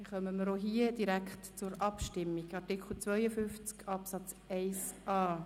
Damit kommen wir zur Abstimmung über Artikel 52 Absatz 1a (neu).